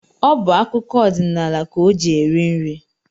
Ọ bụ akụkọ odinaala ka o ji eri nri